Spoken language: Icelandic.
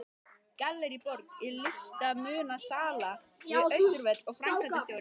Gallerí Borg er listmunasala við Austurvöll og framkvæmdastjóri er